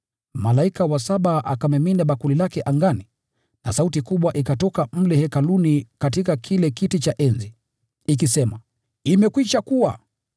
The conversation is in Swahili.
Malaika wa saba akamimina bakuli lake angani na sauti kubwa ikatoka mle hekaluni katika kile kiti cha enzi, ikisema, “Imekwisha kuwa!”